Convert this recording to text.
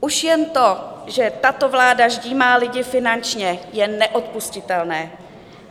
Už jen to, že tato vláda ždímá lidi finančně, je neodpustitelné.